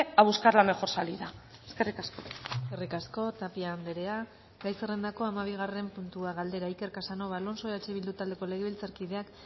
a buscar la mejor salida eskerrik asko eskerrik asko tapia andrea gai zerrendako hamabigarren puntua galdera iker casanova alonso eh bildu taldeko legebiltzarkideak